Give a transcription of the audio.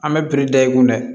An bɛ da i kun dɛ